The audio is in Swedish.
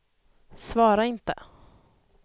svara inte